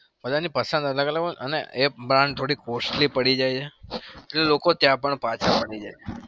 બધાની પસંદ અલગ અલગ હોય. અને એ brand થોડી costly પડી જાય છે એટલે લોકો ત્યાં પણ પાછા ફરી જાય.